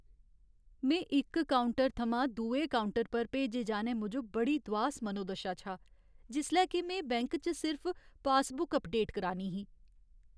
में इक काउंटर थमां दुए काउंटर पर भेजे जाने मूजब बड़ी दुआस मनोदशा च हा जिसलै के में बैंक च सिर्फ पासबुक अपडेट करानी ही।